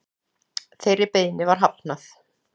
Þeirri beiðni var hafnað